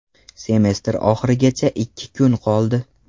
Semestr oxirigacha ikki kun qoldi.